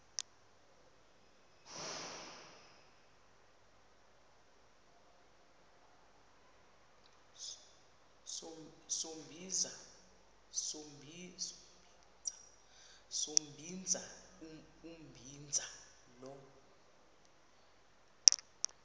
sombinza umbinza lo